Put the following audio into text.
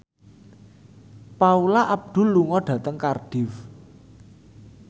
Paula Abdul lunga dhateng Cardiff